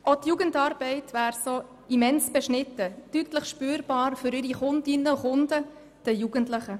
Auch die Jugendarbeit würde so immens beschnitten, deutlich spürbar für ihre Kundschaft, die Kinder und Jugendlichen.